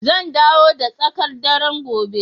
Zan dawo da tsakar dare gobe